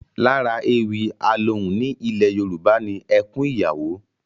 Lára ewì alohùn ní ilẹ̀ Yorùbá ni ẹkún ìyàwó